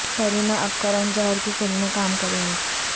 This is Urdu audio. کرینہ اب کرن جوہر کی فلم میں کام کریں گی